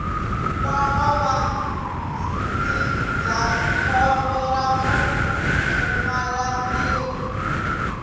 nkwama wa ndzindzakhombo ra vupfumalantirho